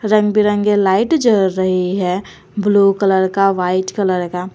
रंग बिरंगे लाइट जल रही हैं ब्लू कलर का व्हाईट कलर का।